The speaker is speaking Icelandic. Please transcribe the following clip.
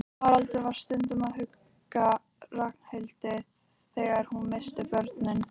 Haraldur var stundum að hugga Ragnhildi þegar hún missti börnin.